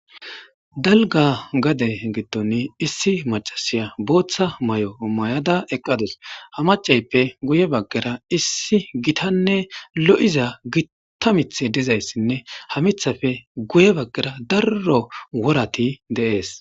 Dalgga gade giddon issi maccasiya booththa mayo mayada eqqadus ha maccayippe guye baggara issi gitanne lo'izanne gita miththay dizayssine ha miththape guye baggara daro worati de'es.